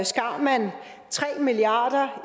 skar man tre milliard